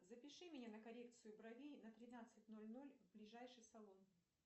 запиши меня на коррекцию бровей на тринадцать ноль ноль в ближайший салон